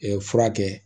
furakɛ